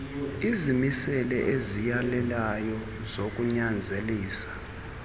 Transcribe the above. izimiselo eziyalelayo zokunyanzelisa